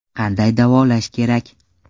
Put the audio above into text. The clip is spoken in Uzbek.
Qanday davolash kerak?